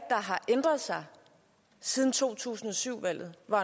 har ændret sig siden to tusind og syv valget hvor